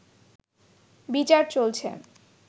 বিচার চলছে